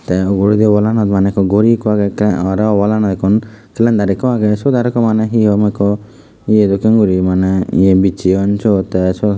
tey uguredi wallanot maneh gori ekku agey te aro wallanot ekku salandar ekku age sot aro ekku maneh he hom ekku eya dokken gori maneh iye bissayoun tey syot.